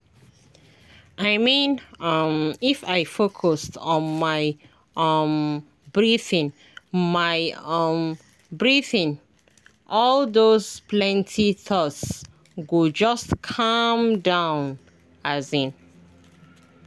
i mean um if i focus on my um breathing my um breathing all those plenty thoughts go just calm down. um